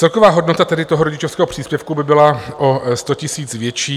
Celková hodnota tedy toho rodičovského příspěvku by byla o 100 000 větší.